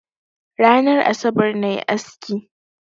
Ranar asabar na yi aski.